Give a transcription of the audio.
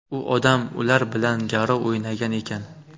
U odam ular bilan garov o‘ynagan ekan.